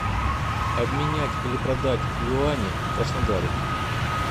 обменять или продать юани в краснодаре